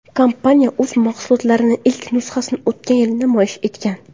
Kompaniya o‘z mahsulotlarining ilk nusxalarini o‘tgan yili namoyish etgan.